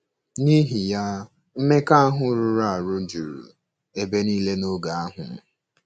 N'ihi ya, mmekọahụ rụrụ arụ juru ebe nile n'oge ahụ.